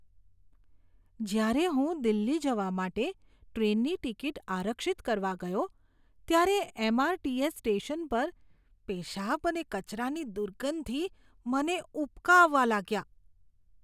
જ્યારે હું દિલ્હી જવા માટે ટ્રેનની ટિકિટ આરક્ષિત કરવા ગયો ત્યારે એમ.આર.ટી.એસ. સ્ટેશન પર પેશાબ અને કચરાની દુર્ગંધથી મને ઉબકા આવવા લાગ્યા.